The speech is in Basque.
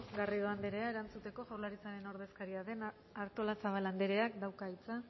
garrido andrea erantzuteko jaurlaritzaren ordezkaria den artolazabal andreak dauka hitza